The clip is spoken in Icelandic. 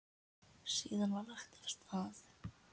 Síðan var lagt af stað.